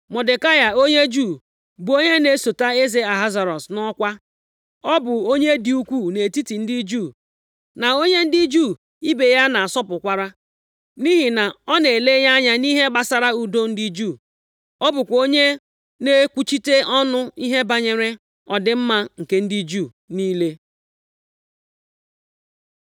Mọdekai, onye Juu, bụ onye na-esote eze Ahasuerọs nʼọkwa. Ọ bụ onye dị ukwuu nʼetiti ndị Juu, na onye ndị Juu ibe ya na-asọpụkwara, nʼihi na ọ na-elenye anya nʼihe gbasara udo ndị Juu. Ọ bụkwa onye na-ekwuchite ọnụ nʼihe banyere ọdịmma nke ndị Juu niile.